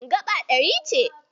Gaba ɗari ce.